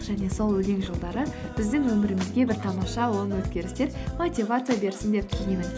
және сол өлең жолдары біздің өмірімізге бір тамаша оң өзгерістер мотивация берсін деп